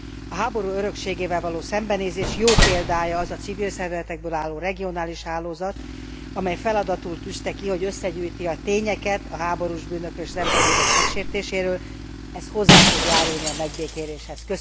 A háború örökségével való szembenézés jó példája az a civil szervezetekből álló regionális hálózat, amely feladatul tűzte ki, hogy összegyűjti a tényeket a háborús bűnökről és az emberi jogok megsértéséről ez hozzá fog járulni a megbékéléshez.